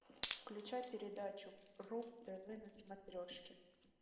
включай передачу ру тв на смотрешке